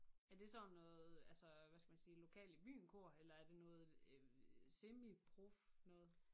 Er det sådan noget altså hvad skal man sige lokal i byen kor eller er det noget øh semiprof noget?